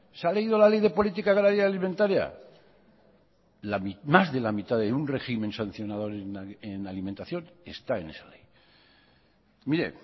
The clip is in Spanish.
se ha leído la ley de política agraria alimentaria más de la mitad de un régimen sancionador en alimentación está en esa ley mire